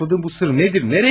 Sakladığın bu sır nedir?